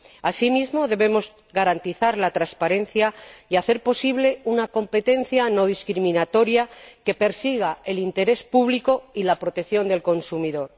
Asimismo, debemos garantizar la transparencia y hacer posible una competencia no discriminatoria que persiga el interés público y la protección del consumidor.